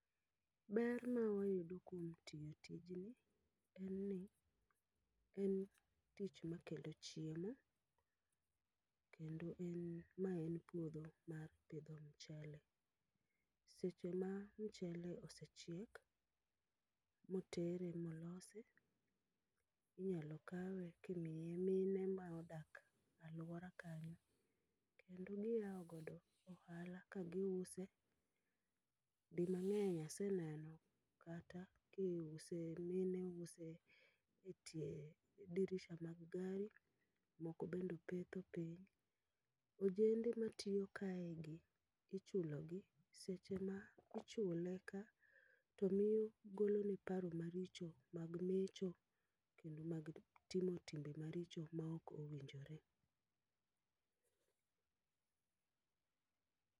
Ber ma wayudo kuom tiyo tijni, en ni en tich ma kelo chiemo. Kendo en ma en puodho mar pidho mchele. Seche ma mchele osechiek, motere molosi, inyalo kawe kimiye mine ma odak alwora kanyo. Kendo giyawo godo ohala ka giuse, di mang'eny aseneno kata kiuse, mine use etie dirisha mag gari, moko bendopetho piny. Ojende matiyo kae gi, ichulo gi. Seche ma ichule ka, to miyo golone paro maricho mag mecho togi mag timo timbe maricho maok owinjore.